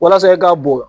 Walasa e ka bɔn